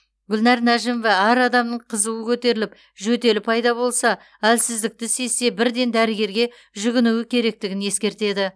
гүлнәр нәжімова әр адамның қызуы көтеріліп жөтелі пайда болса әлсіздікті сезсе бірден дәрігерге жүгінуі керектігін ескертеді